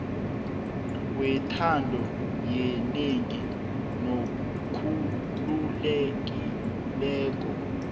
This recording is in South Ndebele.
wentando yenengi nokhululekileko